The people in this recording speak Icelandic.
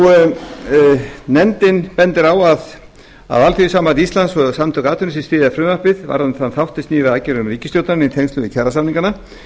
það gerir nefndin bendir á að alþýðusamband íslands og samtök atvinnulífsins styðja frumvarpið varðandi þann þátt sem snýr að aðgerðum ríkisstjórnarinnar í tengslum við kjarasamningana